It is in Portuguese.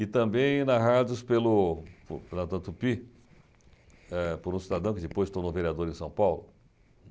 E também narrados pelo pela Tupi, eh por um cidadão que depois se tornou vereador em São Paulo.